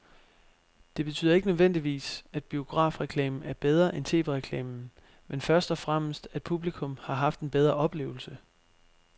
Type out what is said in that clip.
Det betyder ikke nødvendigvis, at biografreklamen er bedre end tv-reklamen, men først og fremmest at publikum har haft en bedre oplevelse.